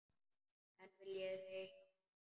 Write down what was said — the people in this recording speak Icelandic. En viljið þið hjálpa mér?